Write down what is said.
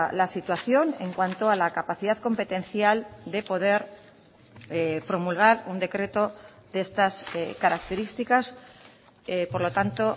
la situación en cuanto a la capacidad competencial de poder promulgar un decreto de estas características por lo tanto